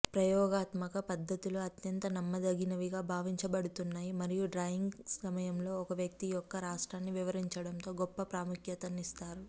ప్రయోగాత్మక పద్దతులు అత్యంత నమ్మదగినవిగా భావించబడుతున్నాయి మరియు డ్రాయింగ్ సమయంలో ఒక వ్యక్తి యొక్క రాష్ట్రాన్ని వివరించడంలో గొప్ప ప్రాముఖ్యతనిస్తారు